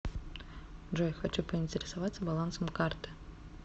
джой хочу поинтересоваться балансом карты